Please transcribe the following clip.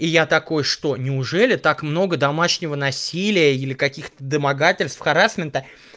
и я такой что неужели так много домашнего насилия или каких-то домогательств харассмента